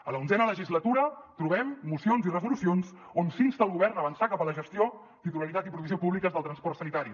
a l’onzena legislatura trobem mocions i resolucions on s’insta el govern a avançar cap a la gestió titularitat i provisió públiques del transport sanitari